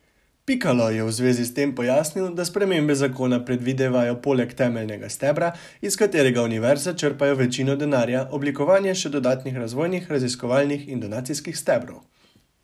Pikalo je v zvezi s tem pojasnil, da spremembe zakona predvidevajo poleg temeljnega stebra, iz katerega univerze črpajo večino denarja, oblikovanje še dodatnih razvojnih, raziskovalnih in donacijskih stebrov.